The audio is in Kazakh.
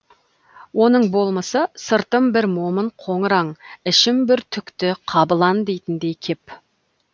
оның болмысы сыртым бір момын қоңыр аң ішім бір түкті қабылан дейтініндей кеп